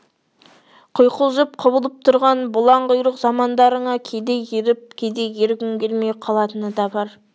құйқылжып-құбылып тұрған бұлаң құйрық замандарыңа кейде еріп кейде ергім келмей қалатыны да бар